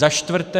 Za čtvrté.